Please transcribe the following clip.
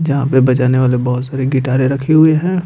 जहां पे बजाने वाले बहुत सारे गिटारे रखी हुए हैं।